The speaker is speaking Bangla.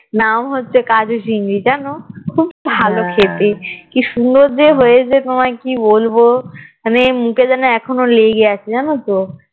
নাম হচ্ছে কাজু চিংড়ি জানো খুব ভালো খেতে কি সুন্দর যে হয়েছে তোমায় কি বলবো মানে মুখে যেন এখনো লেগে আছে জানতো